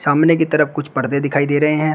कमरे की तरफ कुछ पर्दे दिखाई दे रहे है।